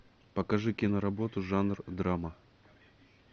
покажи киноработу жанр драма